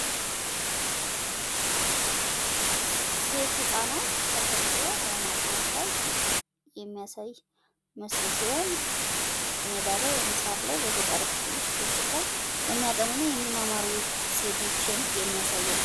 ሴት ህፃናት ተሰብሰበው በማጥናት ላይ የሚያሳይ ምስል ሲሆን ሜዳ ላይ ወይም ሳር ላይ በገጠሩ ክፍል ቁጭ ብለው የሚያጠኑ እና የሚማማሩ ሴቶችን የሚያሳይ ነው።